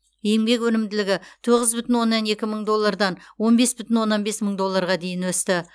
еңбек өнімділігі тоғыз бүтін оннан екі мың доллардан он бес бүтін оннан бес мың долларға дейін өсті